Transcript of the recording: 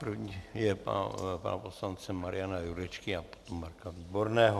První je pana poslance Mariana Jurečky a potom Marka Výborného.